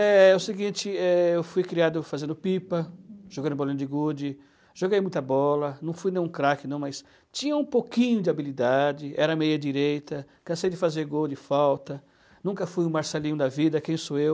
É o seguinte, eh, eu fui criado fazendo pipa, jogando bolinha de gude, joguei muita bola, não fui nenhum craque não, mas tinha um pouquinho de habilidade, era meia direita, cansei de fazer gol de falta, nunca fui o Marcelinho da vida, quem sou eu?